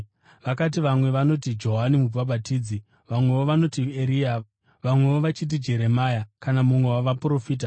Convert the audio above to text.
Vakati, “Vamwe vanoti Johani Mubhabhatidzi, vamwewo vanoti Eria, vamwewo vachiti Jeremia kana mumwe wavaprofita.”